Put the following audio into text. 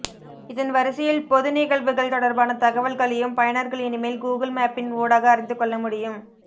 இதன் வரிசையில் பொது நிகழ்வுகள் தொடர்பான தகவல்களையும் பயனர்கள் இனிமேல் கூகுள் மேப்பின் ஊடாக அறிந்துகொள்ள முடியும்